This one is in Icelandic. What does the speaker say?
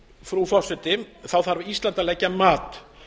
frú forseti þarf ísland að leggja mat